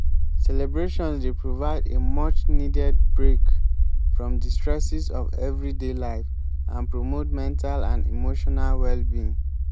celebrations dey provide a much-needed break from di stresses of everyday life and promote mental and emotional well-being.